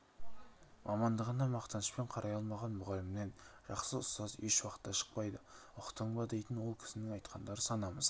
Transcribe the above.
мамандығына мақтанышпен қарай алмаған мұғалімнен жақсы ұстаз ешуақытта шықпайды ұқтың ба дейтін ол кісінің айтқандары санамызға